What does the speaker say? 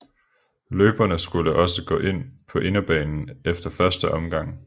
Løberne skulle også gå ind på inderbanen efter første omgang